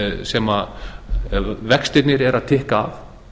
sem vextirnir eru að tikka